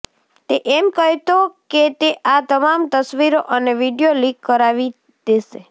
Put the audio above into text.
તે એમ કહેતો કે તે આ તમામ તસવીરો અને વીડિયો લીક કરાવી દેશે